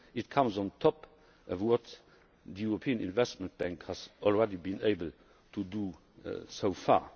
It comes on top of what the European Investment Bank has already been able to do so far.